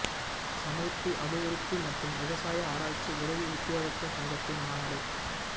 சமூர்த்தி அபிவிருத்தி மற்றும் விவசாய ஆராய்ச்சி உதவி உத்தியோகத்தர் சங்கத்தின் மாநாடு